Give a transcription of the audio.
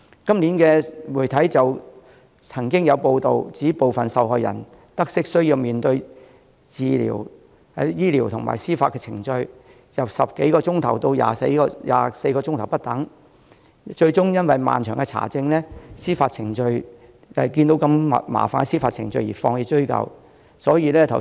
今年就曾經有媒體報道，指部分受害人在得悉需要面對過程由10多小時至24小時不等的醫療及司法程序後，最終因為需經過漫長的查證過程、麻煩的司法程序而放棄追究。